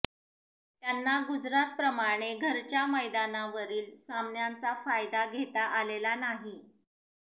त्यांना गुजरात प्रमाणे घरच्या मैदानावरील सामन्यांचा फायदा घेता आलेला नाही